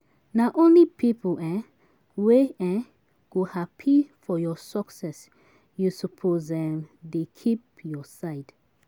Na only pipu um wey um go hapi for your success you suppose um dey keep your side.